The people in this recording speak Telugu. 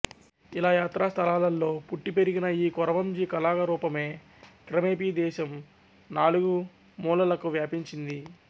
ఇలా యాత్రాస్థలాలల్లో పుట్టి పెరిగిన ఈ కొరవంజి కళారూపమే క్రమేపి దేశం నాలుగు మూలలకూ వ్వాపించింది